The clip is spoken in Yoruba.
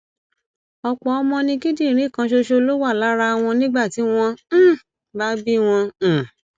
ọpọ ọmọ ni kíndìnrín kan ṣoṣo ló wà lára wọn nígbà tí wọn um bá bí wọn um